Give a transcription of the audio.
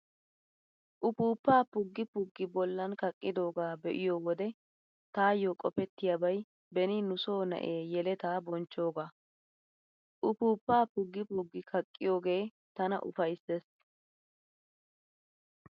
Uppuuppaa puggi puggi bollan kaqqidoogaa be'iyo wode taayyo qopettiyaabay beni nu soo na"ee yeletaa bonchchoogaa. Uppuuppaa puggi puggi kaqqiyoogee tana ufayssees.